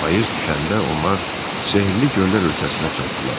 Payız düşəndə onlar sehrli göllər ölkəsinə çatdılar.